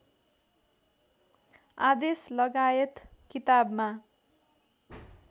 आदेश लगायत किताबमा